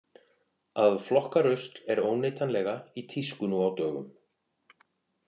Að flokka rusl er óneitanlega í tísku nú á dögum.